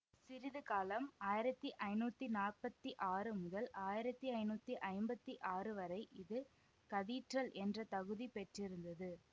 சிறிதுகாலம் ஆயிரத்தி ஐநூத்தி நாற்பத்தி ஆறு முதல் ஆயிரத்தி ஐநூத்தி ஐம்பத்தி ஆறு வரை இது கதீட்ரல் என்ற தகுதி பெற்றிருந்தது